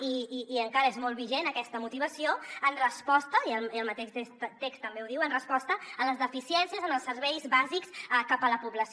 i encara és molt vigent aquesta motivació en resposta i el mateix text també ho diu a les deficiències en els serveis bàsics cap a la població